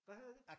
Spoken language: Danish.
Hvad hedder det?